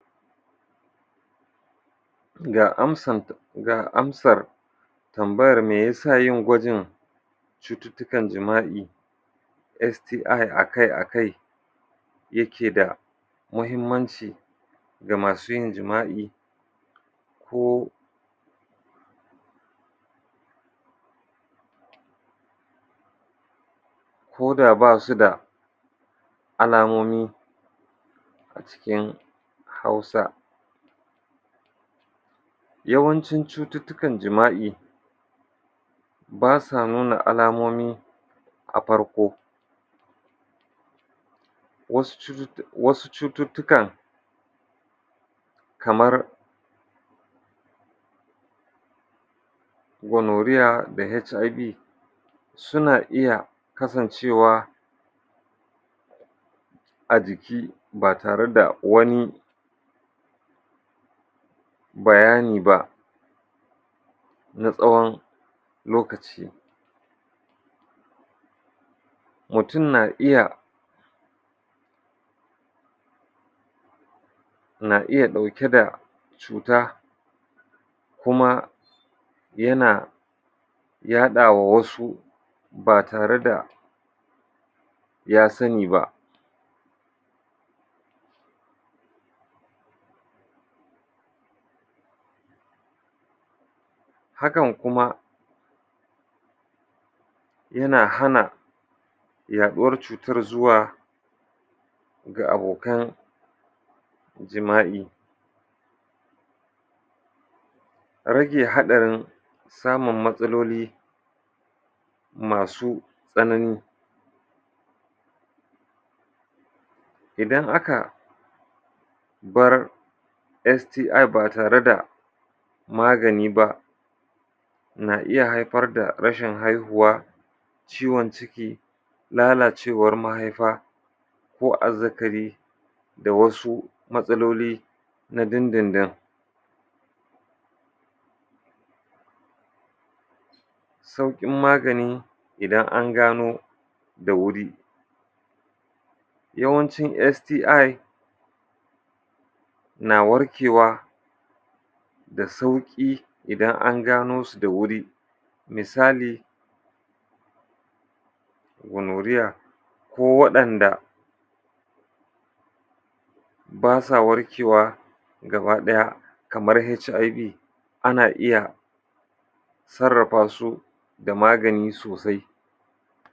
Ga amsan ga amsar tambayar me ya sa yin gwajin cututtukan jima'i STI a kai a kai yake da muhimmanci ga masu yin jima'i ko koda ba su da akamomi a ciki Hausa. Yawancin cututtukan jima'i ba sa nuna alamomi a farko wasu cututtukan kamar gonoriya da HIV suna iya kasancewa a jiki ba tare da wani bayani ba na tsawon lokaci Mutum na iya na iya ɗauke da cuta kuma yana yaɗa wa wasu ba tare da ya sani ba. Hakan kuma] yana hana ya yaɗuwar cutar zuwa ga abokan jima'i. Rage haɗarin samun matsaloli masu tsanani. Idan aka bar STI ba tare da magani ba na iya haifar da rashin haihuwa ciwon ciki, lalacewar mahaifa ko azzakari da wasu matsaloli na dindindin. Sauƙin maganin idan an gano da wuri Yawancin STI na warkewa da sauƙi idan an gano su da wuri. Misali, gonoriya ko waɗanda ba sa warkewa gaba ɗaya, kamar HIV ana iya sarrafa su da magani sosai.